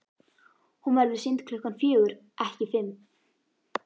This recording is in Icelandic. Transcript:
Hún verður sýnd klukkan fjögur, ekki fimm.